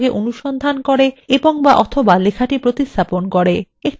একটি উদাহরনের মাধ্যমে আলোচনা শুরু করা যাক